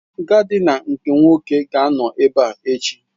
Gaadina nke Nwoke ga-anọ ebe a echi.